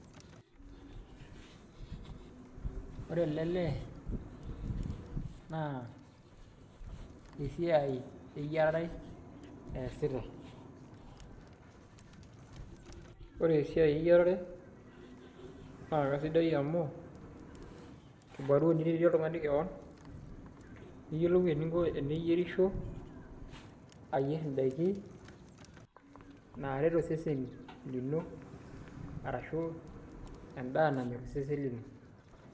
Wore ele lee, naa esiai eyiarare eesita, wore esiai eyiarare naa kaisidai amu, kibarua niretie oltungani kewon, niyiolou eninko teniyierisho, ayier indaikin naaret osesen lino arashu endaah nanyorr osesen lino.